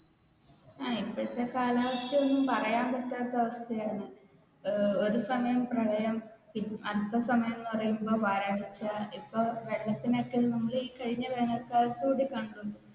ഇപ്പഴത്തെ കാലാവസ്ഥ ഒന്നും പറയാൻ പറ്റാത്ത അവസ്ഥയാണ് ഒരു സമയം പ്രളയം അടുത്ത സമയം എന്ന് പറയുമ്പോൾ വരൾച്ച ഇപ്പൊ ഇപ്പൊ വെള്ളത്തിനൊക്കെ നമ്മൾ ഈ കഴിഞ്ഞ വേനൽ കാലത്തു കൂടി